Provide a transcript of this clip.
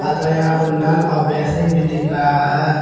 तथा यहां पर नल और बेसिन भी दिख रहा है।